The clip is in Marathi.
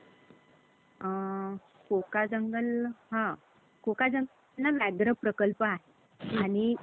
Plus electronics.